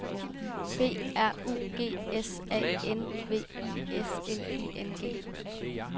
B R U G S A N V I S N I N G